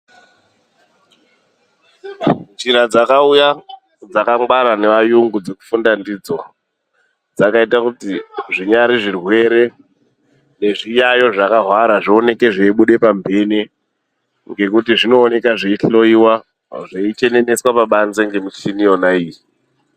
Njira dzakauya dzakangwara neayungu dzekufunda ndidzo dzakaite kuti, zvinyari zvirwere nezviyayo zvakahwara zvioneke zveibude pamhene ngekuti, zvinoonekwa zveihloyiwa, zveicheneneswe pabanze nemichina iyona iyoyo.